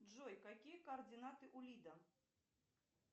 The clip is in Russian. джой какие координаты у лида